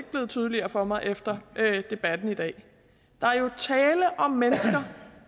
blevet tydeligere for mig efter debatten i dag der er jo tale om mennesker